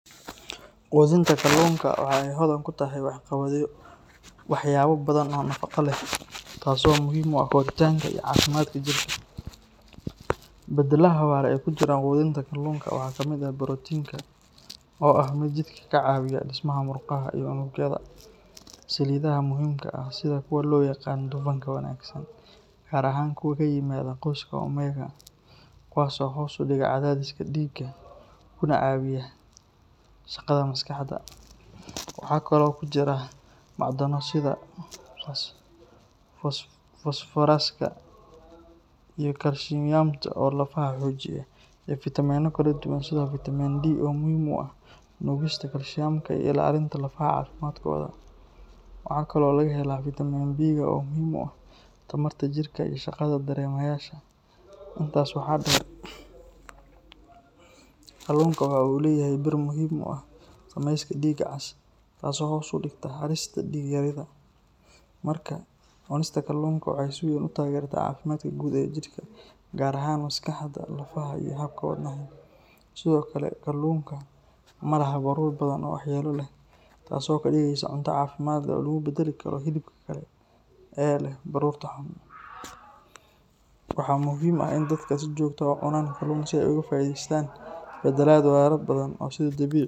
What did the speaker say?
Qudinta kalluunka waxa ay hodan ku tahay waxyaabo badan oo nafaqo leh, taasoo muhiim u ah koritaanka iyo caafimaadka jidhka. Bedeladaha wara ee ku jira qudinta kalluunka waxaa kamid ah borotiinka, oo ah mid jidhka ka caawiya dhismaha murqaha iyo unugyada, saliidaha muhiimka ah sida kuwa loo yaqaan dufanka wanaagsan, gaar ahaan kuwa ka yimaada qoyska oomega, kuwaasoo hoos u dhiga cadaadiska dhiigga kuna caawiya shaqada maskaxda. Waxa kale oo ku jira macdano sida fosfooraska iyo kaalshiyamta oo lafaha xoojiya, iyo fiitamiinno kala duwan sida fiitamiin D oo muhiim u ah nuugista kaalshiyamka iyo ilaalinta lafaha caafimaadkooda. Waxaa kaloo laga helaa fiitamiin B-ka oo muhiim u ah tamarta jidhka iyo shaqada dareemayaasha. Intaas waxaa dheer, kalluunka waxa uu leeyahay bir muhiim u ah samayska dhiigga cas, taasoo hoos u dhigta halista dhiig-yarida. Markaa, cunista kalluunka waxay si weyn u taageertaa caafimaadka guud ee jidhka, gaar ahaan maskaxda, lafaha, iyo habka wadnaha. Sidoo kale, kalluunka ma laha baruur badan oo waxyeello leh, taasoo ka dhigaysa cunto caafimaad leh oo lagu beddeli karo hilibka kale ee leh baruurta xun. Waxaa muhiim ah in dadka si joogto ah u cunaan kalluun si ay uga faa’iideystaan bedelad waraha badan ee uu sida dabiiciga.